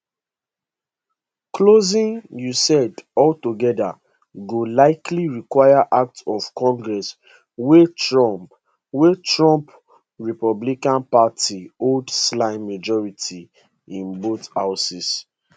closing usaid altogeda go likely require act of congress wia trump wia trump republican party hold slim majorities in both houses